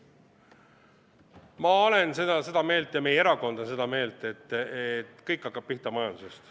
Ma olen seda meelt ja meie erakond on seda meelt, et kõik hakkab pihta majandusest.